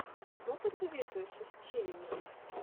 что посоветуешь из челленджей